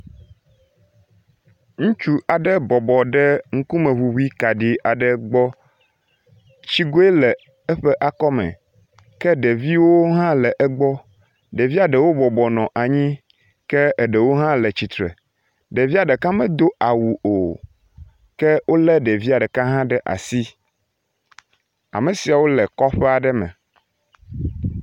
Ŋutsu aɖe bɔbɔ ɖe ŋkumeŋuŋui kaɖi aɖe gbɔ. Tsigoe le eƒe akɔme ke ɖeviwo hã le egbɔ, ɖevia ɖewo bɔbɔnɔ anyi ke eɖewo hã le tsitre. Ɖevia ɖeka medo awu o ke wolé ɖevi ɖeka hã ɖe asi. Ame siawo le kɔƒe aɖe me.